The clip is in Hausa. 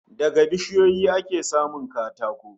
Daga bishiyoyi ake samun katako